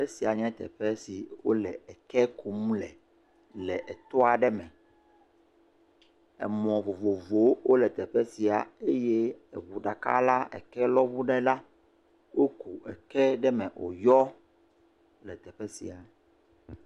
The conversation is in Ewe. Esia nye teƒe si wole ɛkɛ kum lɛ, le etoa ɖe me. Emɔ vovovowo le teƒe sia. Eye eŋu ɖeka la ɛkelɔŋu ɖe ɖa. Woku ɛkɛ ɖe eme wò yɔ.